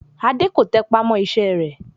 Adé kò tẹpá mọ́ iṣẹ́ rẹ̀